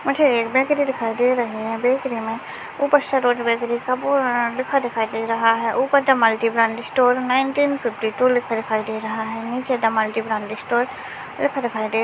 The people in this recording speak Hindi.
मुझे एक बेकरि दिखाई दे रही है बेकरी मे ऊपर सरोज बेकरी का बोर्ड लिखा दिखाई दे रहा है ऊपर the multi brand store nineteen fifty two लिखा दिखाई दे रहा है निचे द मल्टी ब्रांड स्टोर लिखा दिखा--